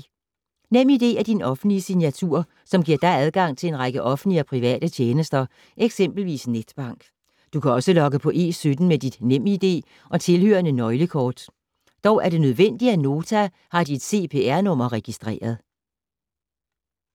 NemID er din offentlige signatur, som giver dig adgang til en række offentlige og private tjenester, eksempelvis netbank. Du kan også logge på E17 med dit Nem ID og tilhørende nøglekort. Dog er det nødvendigt, at Nota har dit CPR-nummer registreret.